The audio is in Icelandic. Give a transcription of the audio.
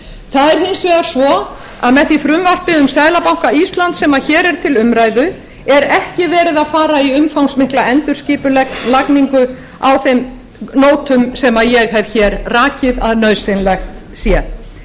það er hins vegar svo að með því frumvarpi um seðlabanka íslands sem hér er til umræðu er ekki verið að fara í umfangsmikla endurskipulagningu á þeim nótum sem ég hef rakið að nauðsynlegt sé